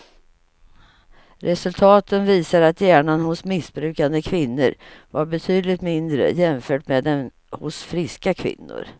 Resultaten visar att hjärnan hos missbrukande kvinnor var betydligt mindre jämfört med den hos friska kvinnor.